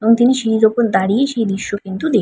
এবং তিনি সিঁড়ির উপর দাঁড়িয়ে সেই দৃশ্য কিন্তু দেখ --